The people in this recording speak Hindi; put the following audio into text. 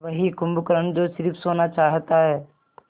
वही कुंभकर्ण जो स़िर्फ सोना चाहता है